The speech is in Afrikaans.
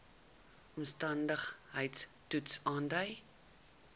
omstandigheids toets aandui